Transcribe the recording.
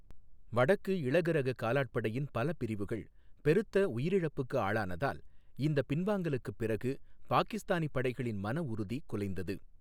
வடக்கு இளகுரக காலாட்படையின் பல பிரிவுகள் பெருத்த உயிரிழப்புக்கு ஆளானதால், இந்த பின்வாங்கலுக்குப் பிறகு பாகிஸ்தானி படைகளின் மனஉறுதி குலைந்தது.